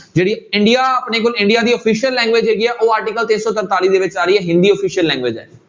ਜਿਹੜੀ ਇੰਡੀਆ ਆਪਣੇ ਕੋਲ ਇੰਡੀਆ ਦੀ official language ਜਿਹੜੀ ਆ ਉਹ article ਤਿੰਨ ਸੌ ਸੰਤਾਲੀ ਦੇ ਵਿੱਚ ਆ ਰਹੀ ਹੈ ਹਿੰਦੀ official language ਹੈ।